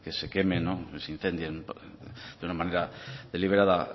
se queme que se incendie de una manera deliberada